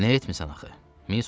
Nə etmisən axı?